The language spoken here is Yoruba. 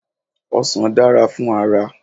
Ọsàn dára fún ara.